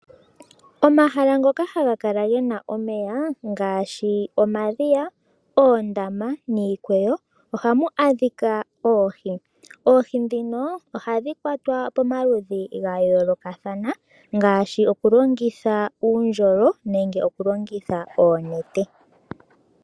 Omahala ngoka haga kala ge na omeya ngaashi omadhiya, oondama niikweyo ohamu adhika oohi. Oohi ndhino ohadhi kwatwa pamaludhi ga yoolokathana ngaashi okulongitha uundjolo nenge okulongitha oonete.